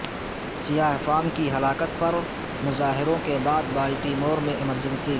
سیاہ فام کی ہلاکت پر مظاہروں کے بعد بالٹیمور میں ایمرجنسی